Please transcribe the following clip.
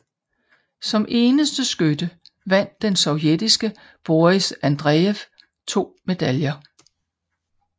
Som eneste skytte vandt den sovjetiske Boris Andrejev 2 medaljer